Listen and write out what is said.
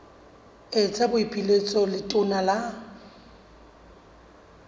etsa boipiletso ho letona la